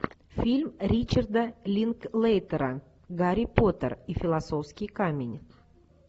фильм ричарда линклейтера гарри поттер и философский камень